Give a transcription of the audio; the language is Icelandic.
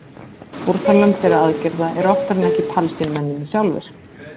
Fórnarlömb þeirra aðgerða eru oftar en ekki Palestínumennirnir sjálfir.